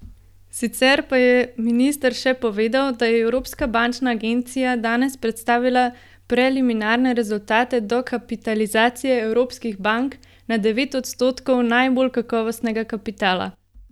Sicer pa je minister še povedal, da je Evropska bančna agencija danes predstavila preliminarne rezultate dokapitalizacije evropskih bank na devet odstotkov najbolj kakovostnega kapitala.